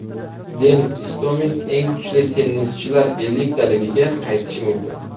Denis Istomin eng kuchli tennischilar elliktaligiga qaytishi mumkin.